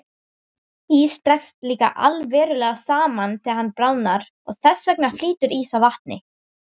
Ís dregst líka allverulega saman þegar hann bráðnar og þess vegna flýtur ís á vatni.